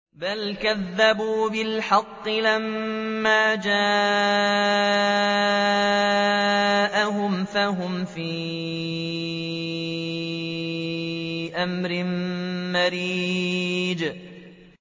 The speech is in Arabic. بَلْ كَذَّبُوا بِالْحَقِّ لَمَّا جَاءَهُمْ فَهُمْ فِي أَمْرٍ مَّرِيجٍ